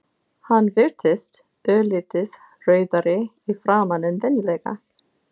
Hann virtist örlítið rauðari í framan en venjulega.